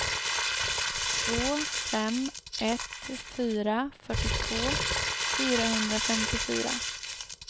två fem ett fyra fyrtiotvå fyrahundrafemtiofyra